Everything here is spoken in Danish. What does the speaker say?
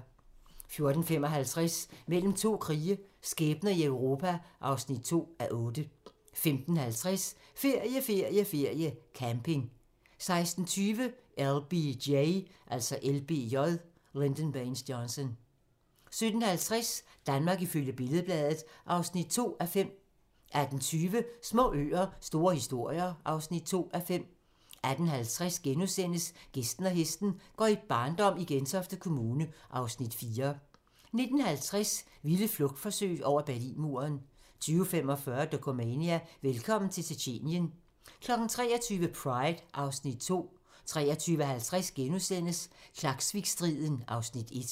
14:55: Mellem to krige - skæbner i Europa (2:8) 15:50: Ferie, ferie, ferie: Camping 16:20: LBJ 17:50: Danmark ifølge Billed-Bladet (2:5) 18:20: Små øer - store historier (2:5) 18:50: Gæsten og hesten - går i barndom i Gentofte Kommune (Afs. 4)* 19:50: Vilde flugtforsøg over Berlinmuren 20:45: Dokumania: Velkommen til Tjetjenien 23:00: Pride (Afs. 2) 23:50: Klaksvikstriden (Afs. 1)*